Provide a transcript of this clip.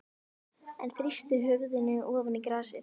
Hann þrýsti höfðinu ofan í grasið.